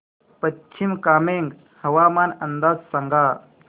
पश्चिम कामेंग हवामान अंदाज सांगा